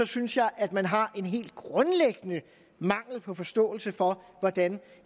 synes jeg at man har en helt grundlæggende mangel på forståelse for hvordan